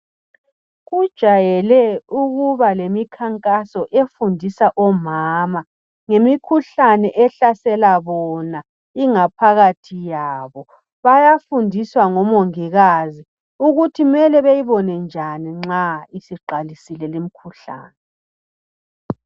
Kujayele ukuba lemikhankaso efundisa omama ngemikhuhlane ehlasela bona ingaphakathi yabo bayafundiswa ngomongikazi ukuthi mele beyibone njani nxa isiqalisile limkhuhlane.